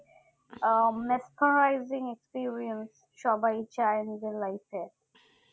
ও metrorizing experience সবাই চাই নিজের life এ